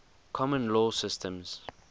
common law systems